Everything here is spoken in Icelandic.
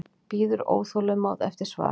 Bíður óþolinmóð eftir svari.